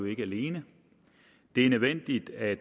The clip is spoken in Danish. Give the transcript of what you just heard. ikke alene det er nødvendigt at